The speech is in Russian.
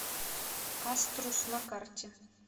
аструс на карте